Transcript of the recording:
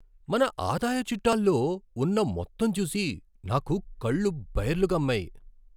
మన ఆదాయ చిట్టాలో ఉన్న మొత్తం చూసి నాకు కళ్ళు బైర్లు కమ్మాయి.